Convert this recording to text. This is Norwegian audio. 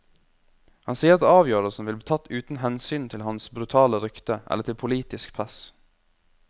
Han sier at avgjørelsen vil bli tatt uten hensyn til hans brutale rykte eller til politisk press.